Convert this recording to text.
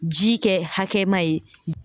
Ji kɛ hakɛma ye